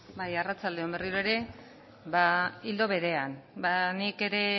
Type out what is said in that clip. bai arratsalde on berriro ere ba ildo berean nik ere